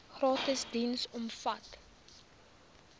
gratis diens omvat